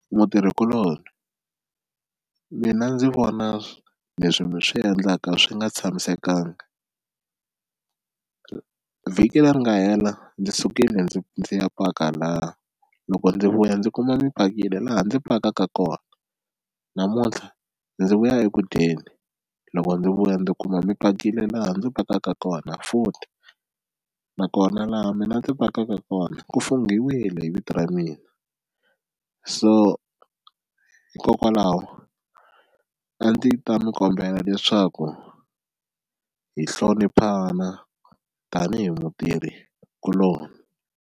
Mutirhikuloni mina ndzi vona leswi mi swi endlaka swi nga tshamisekanga vhiki leri nga hela ndzi sukile ndzi ndzi ya paka laha, loko ndzi vuya ndzi kuma mi pakile laha ndzi pakaka kona namuntlha ndzi vuya eku dyeni loko ndzi vuya ndzi kuma mi pakile laha ndzi pakaka kona futhi nakona laha mina ndzi pakaka kona ku funghiwile hi vito ra mina, so hikokwalaho a ndzi ta mi kombela leswaku hi hloniphana tanihi mutirhikuloni.